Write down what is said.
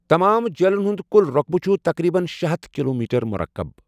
تمام جیٖلن ہُنٛد کُل رۄقبہٕ چھُ تقریباً شے ہتھَ کلومیٹر مُرکب۔